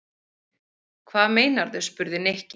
Hvað meinarðu? spurði Nikki.